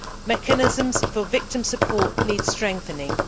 Mechanisms for victim support need strengthening.